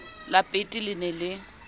la peete le ne le